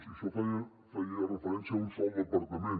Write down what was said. i això feia referència a un sol departament